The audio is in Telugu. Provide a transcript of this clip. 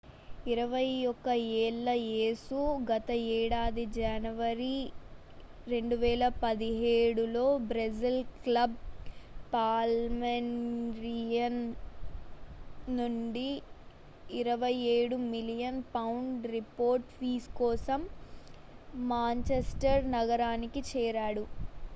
21 ఏళ్ల యేసు గత ఏడాది జనవరి 2017లో బ్రెజిల్ క్లబ్ పాల్మేయిరస్ నుండి 27 మిలియన్ పౌండ్ల రిపోర్డ్ ఫీజు కోసం మాంచెస్టర్ నగరానికి చేరాడు